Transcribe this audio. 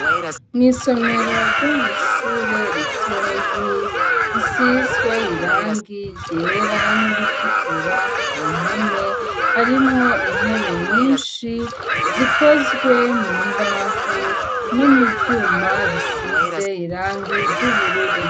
mu isomero ryo mw'ishuri ritoyi risizwe irangi ryera n'iritukura ku mpome harimwo intebe nyishi zikozwe mu mbaho no mu vyuma bisize irangi ry'ubururu.